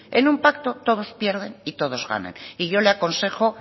en un pacto todos pierden y todos ganan y yo le aconsejo